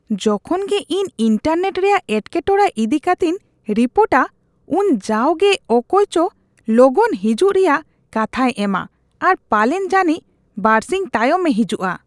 ᱡᱚᱠᱷᱚᱱ ᱜᱮ ᱤᱧ ᱤᱱᱴᱟᱨᱱᱮᱴ ᱨᱮᱭᱟᱜ ᱮᱴᱠᱮᱴᱚᱲᱮ ᱤᱫᱤ ᱠᱟᱛᱮᱧ ᱨᱤᱯᱳᱴᱟ ᱩᱱ ᱡᱟᱣᱜᱮ ᱚᱠᱚᱭᱪᱚ ᱞᱚᱜᱚᱱ ᱦᱤᱡᱩᱜ ᱨᱮᱭᱟᱜ ᱠᱟᱛᱦᱟᱭ ᱮᱢᱟ ᱟᱨ ᱯᱟᱞᱮᱱ ᱡᱟᱹᱱᱤᱡ ᱵᱟᱹᱨᱥᱤᱧ ᱛᱟᱭᱚᱢᱮ ᱦᱤᱡᱩᱜᱼᱟ ᱾